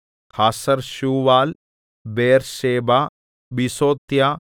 Hazar Shual Beersheba Biziothiah